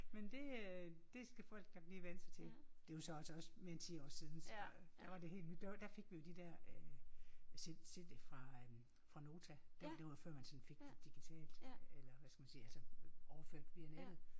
Men det øh det skal folk da lige vænne sig til. Det jo så også mere end 10 år siden så der var det nyt der fik vi jo de der cd'er fra fra Nota det var før man sådan fik det digitalt eller hvad skal man sige altså overført via nettet